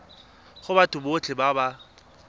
go batho botlhe ba ba